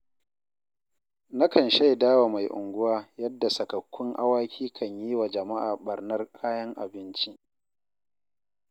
Na kan shaidawa mai unguwa yadda sakakkun awaki kan yi wa jama'a ɓarnar kayan abinci.